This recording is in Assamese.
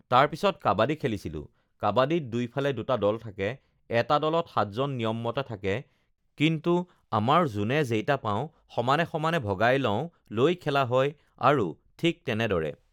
তাৰপিছত কাবাডী খেলিছিলোঁ, কাবাডীত দুইফালে দুটা দল থাকে, এটা দলত সাতজন নিয়মমতে থাকে, কিন্তু আমাৰ যোনে যেইটা পাওঁ সমানে সমানে ভগাই লওঁ লৈ খেলা হয় আৰু ঠিক তেনেদৰে